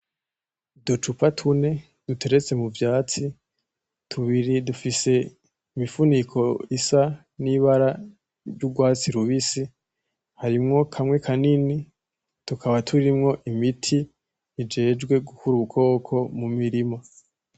Uducupa tune duteretse mu vyatsi ,tubiri dufise imifuniko isa nibara ryugwatsi rubisi, harimwo kamwe kanini, tukaba turimwo imti ijejwe gukura udukoko mu mirima.